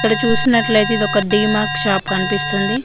అక్కడ చూసినట్లయితే ఇది ఒక డీమార్ట్ షాప్ కనిపిస్తుంది.